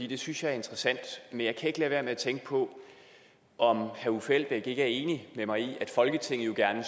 det synes jeg er interessant men jeg kan ikke lade være med at tænke på om herre uffe elbæk ikke er enig med mig i at folketinget jo gerne